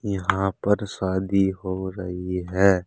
यहां पर शादी हो रही है।